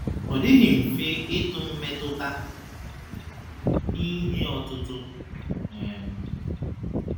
Ọ dịghị mfe ịtụ mmetụta n’ihe ọ̀tụ̀tụ̀ um.